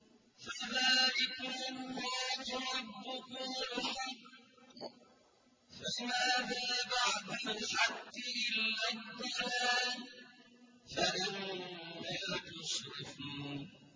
فَذَٰلِكُمُ اللَّهُ رَبُّكُمُ الْحَقُّ ۖ فَمَاذَا بَعْدَ الْحَقِّ إِلَّا الضَّلَالُ ۖ فَأَنَّىٰ تُصْرَفُونَ